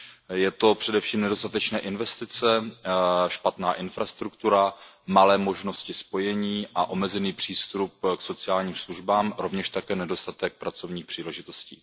Jsou to především nedostatečné investice, špatná infrastruktura, malé možnosti spojení a omezený přístup k sociálním službám, rovněž také nedostatek pracovních příležitostí.